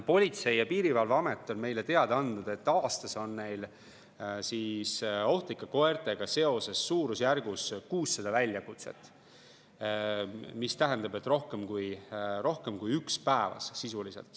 Politsei‑ ja Piirivalveamet on meile teada andnud, et aastas on neil ohtlike koertega seoses suurusjärgus 600 väljakutset, mis tähendab, et sisuliselt rohkem kui üks päevas.